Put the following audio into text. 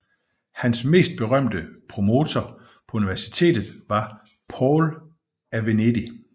Hans mest berømte promoter på universitetet var Paul af Venedig